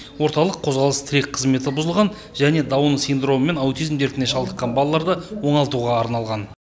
орталық қозғалыс тірек қызметі бұзылған және даун синдромы мен аутизм дертіне шалдыққан балаларды оңалтуға арналған